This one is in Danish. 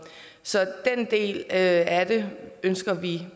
så den del af det ønsker vi